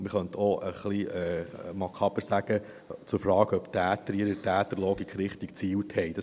Man könnte etwas makaber auch sagen: zu fragen, ob die Täter in ihrer Täterlogik richtig gezielt haben.